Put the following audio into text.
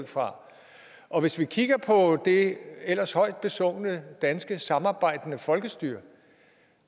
fra og hvis vi kigger på det ellers højt besungne danske samarbejdende folkestyre